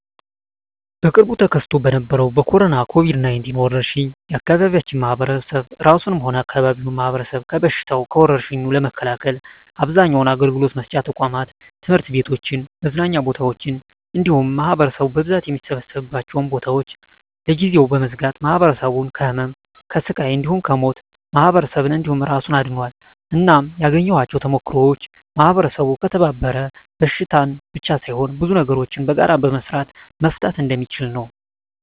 በቅርቡ ተከስቶ በነበረዉ በኮሮና(ኮቪድ 19) ወረርሽ የአካባቢያችን ማህበረሰብ እራሱንም ሆነ የአካባቢውን ማህበረሰብ ከበሽታዉ (ከወርሽኙ) ለመከላከል አብዛኛዉን አገልግሎት መስጫ ተቋማት(ትምህርት ቤቶችን፣ መዝናኛ ቦታወችን እንዲሁም ማህበረሰቡ በብዛት የሚሰበሰብባቸዉን ቦታወች) ለጊዜዉ በመዝጋት ማህበረሰቡን ከህመም፣ ከስቃይ እንዲሁም ከሞት ማህበረሰብን እንዲሁም እራሱን አድኗል። እናም ያገኘኋቸዉ ተሞክሮወች ማህበረሰቡ ከተባበረ በሽታን ብቻ ሳይሆን ብዙ ነገሮችን በጋራ በመስራት መፍታት እንደሚችል ነዉ።